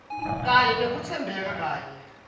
kanye nekutsembeka kanye